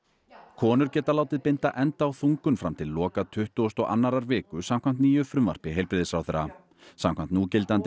konur geta látið binda enda á þungun fram til loka tuttugustu og annarri viku samkvæmt nýju frumvarpi heilbrigðisráðherra samkvæmt núgildandi